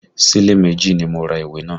Sílẹ̀ méjì ni mo ra ìwé náà